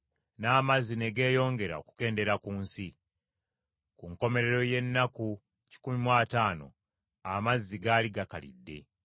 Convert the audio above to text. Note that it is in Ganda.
n’amazzi ne geeyongera okukendeera ku nsi. Ku nkomerero y’ennaku kikumi mu ataano amazzi gaali gakalidde;